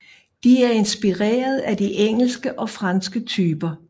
De er inspireret af de engelske og franske typer